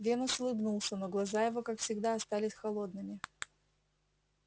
венус улыбнулся но глаза его как всегда остались холодными